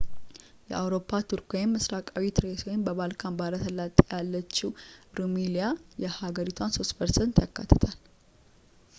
የአውሮፓ ቱርክ ምስራቃዊ ትሬስ ወይም በባልካን ባሕረ ሰላጤ ያለችው ሩሚሊያ የሀገሪቷን 3% ያካትታል